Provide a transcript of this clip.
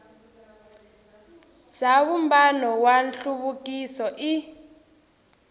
bya vumbano wa nhluvukiso i